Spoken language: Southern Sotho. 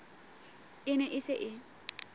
e ne e se e